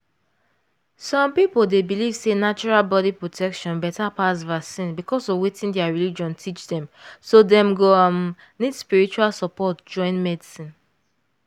some people dey believe sey natural body protection better pass vaccine because of wetin their religion teach teach so dem go um need spiritual support join medicine.